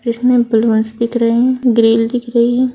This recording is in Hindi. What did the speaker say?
इसमें दिख रहे हैं ग्रिल दिख रहे हैं।